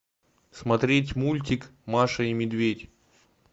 смотреть мультик маша и медведь